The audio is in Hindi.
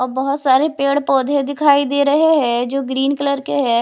बहुत सारे पेड़-पौधे दिखाई दे रहे हैं जो ग्रीन कलर के हैं।